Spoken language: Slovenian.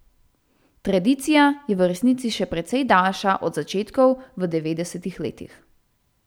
Tradicija je v resnici še precej daljša od začetkov v devetdesetih letih.